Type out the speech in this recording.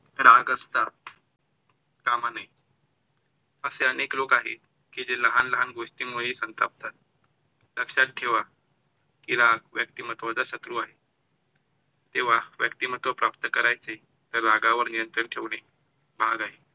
अशे अनेक लोक आहेत की जे लहान लहान गोष्टींमुळे संतापतात. लक्षात ठेवा की राग व्यक्तिमत्वाचा शत्रू आहे किंवा व्यक्तिमत्व प्राप्त करायचे तर रागावर नियंत्रण ठेवणे भाग आहे.